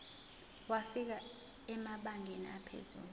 wafika emabangeni aphezulu